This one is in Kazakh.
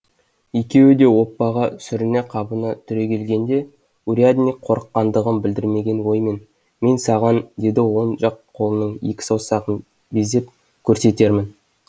екеуі де оппаға сүріне қабына түрегелгенде урядник қорыққандығын білдірмеген оймен мен саған деді он жақ қолының екі саусағын безеп көрсетермін